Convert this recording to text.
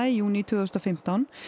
í júní tvö þúsund og fimmtán